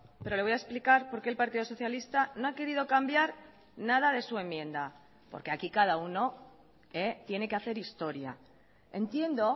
pero le voy a explicar por qué el partido socialista no ha querido cambiar nada de su enmienda porque aquí cada uno tiene que hacer historia entiendo